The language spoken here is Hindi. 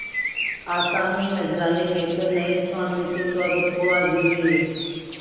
आसामी नजराने लेकर नये स्वामी के स्वागत को हाजिर हुए